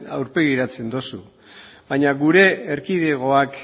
aurpegiratzen dozu baina gure erkidegoak